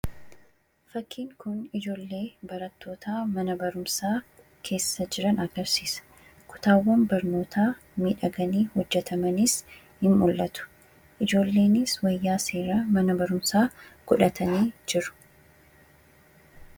Fakkiin kun ijoollee barattoota mana barumsaa keessa jiran agarsiisa. Kutaawwan barnootaa miidhaganii hojjatamaniis ni mul'atu ijoolleenis wayyaa seera mana barumsaa godhatanii jiru.